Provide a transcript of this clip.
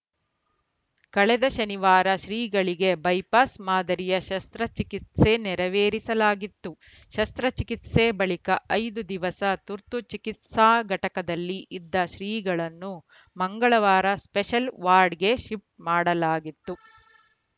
ಕಳೆದ ಶನಿವಾರ ಶ್ರೀಗಳಿಗೆ ಬೈಪಾಸ್‌ ಮಾದರಿಯ ಶಸ್ತ್ರಚಿಕಿತ್ಸೆ ನೆರವೇರಿಸಲಾಗಿತ್ತು ಶಸ್ತ್ರಚಿಕಿತ್ಸೆ ಬಳಿಕ ಐದು ದಿವಸ ತುರ್ತು ಚಿಕಿತ್ಸಾ ಘಟಕದಲ್ಲಿ ಇದ್ದ ಶ್ರೀಗಳನ್ನು ಮಂಗಳವಾರ ಸ್ಪೆಷಲ್‌ ವಾರ್ಡ್‌ಗೆ ಶಿಫ್ಟ್‌ ಮಾಡಲಾಗಿತ್ತು